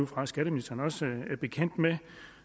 fra skatteministeren også er bekendt med